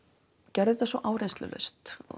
gerði þetta svo áreynslulaust